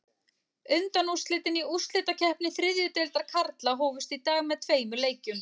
Undanúrslitin í úrslitakeppni þriðju deildar karla hófust í dag með tveimur leikjum.